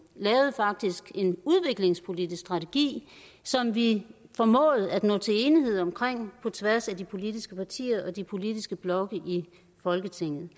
lavede faktisk en udviklingspolitisk strategi som vi formåede at nå til enighed om på tværs af de politiske partier og de politiske blokke i folketinget